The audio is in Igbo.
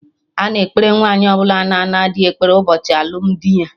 Ana ekpere Nwaanyi ọbụla na-ana dị ekpere ụbọchị alụmdi ya